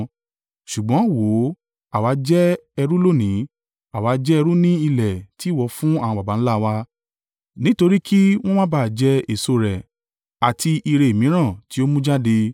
“Ṣùgbọ́n wò ó, àwa jẹ́ ẹrú lónìí, àwa jẹ́ ẹrú ní ilẹ̀ tí ìwọ fún àwọn baba ńlá wa, nítorí kí wọn bá máa jẹ èso rẹ̀ àti ìre mìíràn tí ó mú jáde.